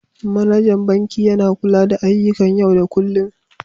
Manajan banki yana kula da ayyukan yau da kullun.